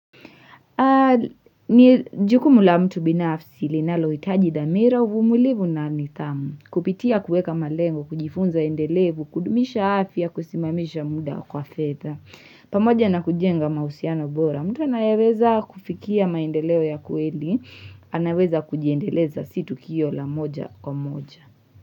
Ni jukumu la mtu binafsi linalohitaji dhamira uvumilivu na nidhamu Kupitia kueka malengo, kujifunza endelevu, kudumisha afya, kusimamisha muda kwa fedha pamoja na kujenga mahusiano bora, mtu anayeweza kufikia maendeleo ya kweli anaweza kujiendeleza si tukio la moja kwa moja.